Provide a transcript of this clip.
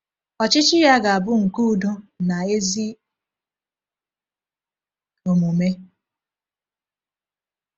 Ọchịchị ya ga-abụ nke udo na ezi omume.